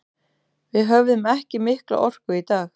Við höfðum ekki mikla orku í dag.